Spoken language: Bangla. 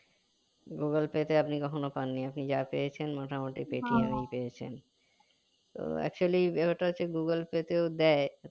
google pay তে আপনি কখনো পাননি আপনি যা পেয়েছেন মোটামুটি Paytm এই পেয়েছেন তো actually ওটা হচ্ছে google pay তেও দেয়